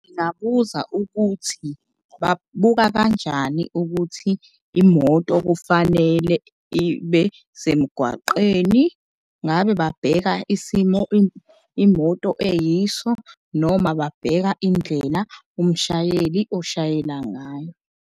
Ngingabuza ukuthi babuka kanjani ukuthi imoto kufanele ibe semgwaqeni. Ngabe babheka isimo imoto eyiso noma babheka indlela umshayeli oshayela ngayo.